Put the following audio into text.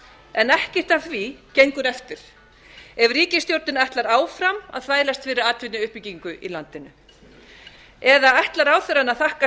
en ekkert af því gengur eftir ef ríkisstjórnin ætlar áfram að þvælast fyrir atvinnuuppbyggingu í landinu eða ætlar ráðherrann að þakka